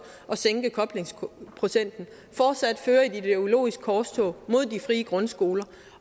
at sænke koblingsprocenten fortsat fører et ideologisk korstog mod de frie grundskoler